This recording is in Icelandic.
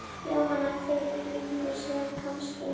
Jóhanna: Fyrir löngu síðan kannski?